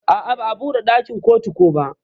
A'a ba'a buɗe dakin kotu ko ba.